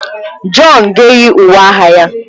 John ga-eyi uwe agha ya.